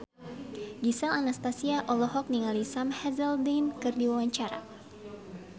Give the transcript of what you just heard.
Gisel Anastasia olohok ningali Sam Hazeldine keur diwawancara